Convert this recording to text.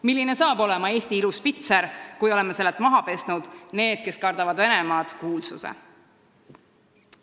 Milline saab olema Eesti ilus pitser, kui oleme sellelt maha pesnud kuulsuse "Need, kes kardavad Venemaad"?